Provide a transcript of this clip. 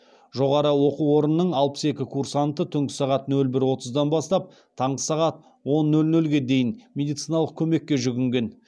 жоғары оқу орнының алпыс екі курсанты түнгі сағат нөл бір отыздан бастап таңғы сағат он нөл нөлге дейін медициналық көмекке жүгінген